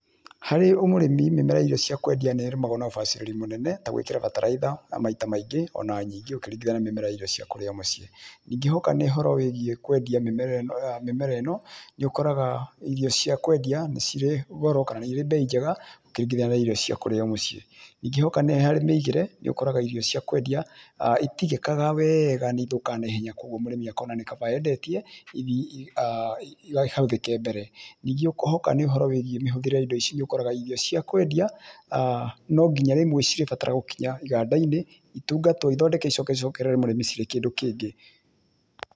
Harĩ o mũrĩmi mĩmera ya irio cia kwendia nĩ ĩrĩmagwo na ũbacĩri mũnene ta gwĩkĩra bataraitha ya maita maingĩ ona nyingĩ ũkĩringithania na mĩmera ya irio cia kũrĩa o mũciĩ. Ningĩ hoka nĩ ũhoro wĩgiĩ kwendia mĩmera ĩno nĩ ũkoraga irio cia kwendia nĩ cirĩ goro kana nĩ irĩ bei njega ũkĩringithania na irio cia kũrĩo mũciĩ. Ningĩ hoka nĩ harĩ mĩigĩre nĩũkoraga irio cia kwendia itigĩkaga nĩ ĩthũkaga naihenya kwoguo mũrĩmi akona nĩ kaba endetie ikahũthĩke mbere. Ningĩ hoka nĩ ũhoro wĩgiĩ mĩhũthĩre ya indo ici nĩũkoraga irio cia kwendia no nginya rĩmwe cirĩbatara gũkinya igandainĩ itungatwo ithondeke icoke icokerere mũrĩmi cirĩ kĩndũ kĩngĩ.